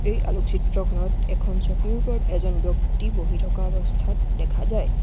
এই আলোক চিত্ৰখনত এখন চকীৰ ওপৰত এজন ব্যক্তি বহি থকা অৱস্থাত দেখা যায়।